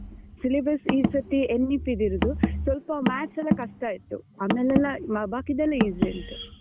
Syllabus ಈ ಸರ್ತಿ NVP ದ್ ಇರುದು. ಸ್ವಲ್ಪ maths ಎಲ್ಲ ಕಷ್ಟ ಇತ್ತು. ಆಮೇಲೆಲ್ಲ ಬಾಕಿದೆಲ್ಲಾ easy ಉಂಟು.